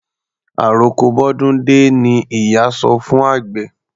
Àroko bọ́dún dé ni ìyá sọ fún àgbẹ̀.